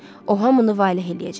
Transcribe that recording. O hamını vale eləyəcək.